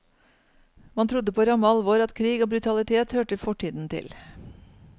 Man trodde på ramme alvor at krig og brutalitet hørte fortiden til.